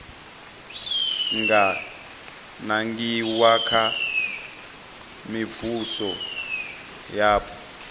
nga nangiwa kha mivhuso yapo